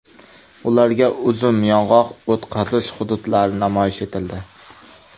Ularga uzum, yong‘oq o‘tqazish hududlari namoyish etildi .